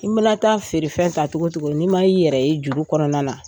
I mana taa feerefɛn ta cogo o cogo n'i ma i yɛrɛ ye juru kɔnɔna na